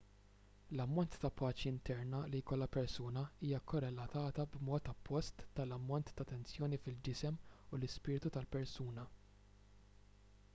l-ammont ta' paċi interna li jkollha persuna hija korrelatata b'mod oppost mal-ammont ta' tensjoni fil-ġisem u l-ispirtu tal-persuna